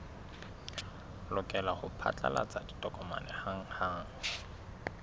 lokela ho phatlalatsa ditokomane hanghang